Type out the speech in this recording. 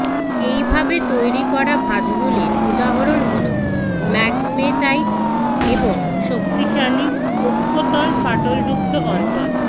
এইভাবে তৈরি করা ভাঁজগুলির উদাহরণ হলো ম্যাগমেটাইট এবং শক্তিশালী অক্ষতল ফাটলযুক্ত অঞ্চল